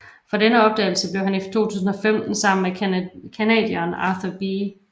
For denne opdagelse blev han i 2015 sammen med canadieren Arthur B